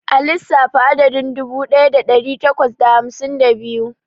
A lissafta adadin dubu ɗaya da ɗari takwas da hamsin da biyu.